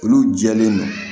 Olu jɛlen don